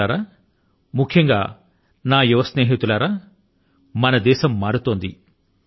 మిత్రులారా ముఖ్యంగా నా యువ స్నేహితులారా మన దేశం మారుతోంది